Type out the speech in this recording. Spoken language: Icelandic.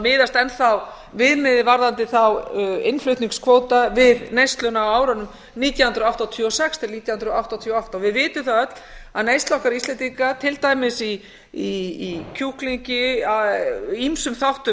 miðast enn þá viðmiðið varðandi þá innflutningskvóta við neysluna á árunum nítján hundruð áttatíu og sex til nítján hundruð áttatíu og átta við vitum það öll að neysla okkar íslendinga til dæmis í kjúklingi í ýmsum þáttum